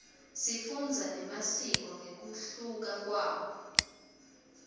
sifundza nemasiko ngekuhluka kwawo